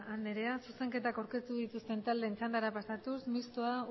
anderea zuzenketak aurkeztu dituzten taldeen txandara pasatuz mistoa